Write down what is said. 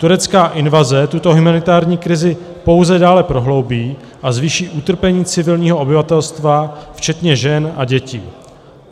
Turecká invaze tuto humanitární krizi pouze dále prohloubí a zvýší utrpení civilního obyvatelstva včetně žen a dětí;